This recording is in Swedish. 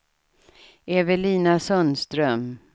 Evelina Sundström